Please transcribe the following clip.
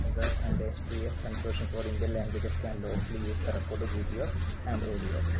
Madras and the സ്‌2സ്‌ consortium for Indian languages can lawfully use the record video and audio.